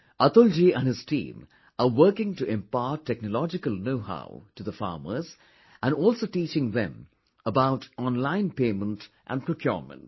Atul ji and his team are working to impart technological knowhow to the farmers and also teaching them about online payment and procurement